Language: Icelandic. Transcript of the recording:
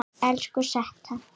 Elsku Setta.